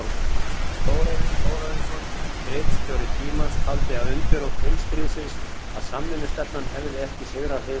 Þórarinn Þórarinsson, ritstjóri Tímans, taldi það undirrót heimsstríðsins, að samvinnustefnan hefði ekki sigrað heiminn.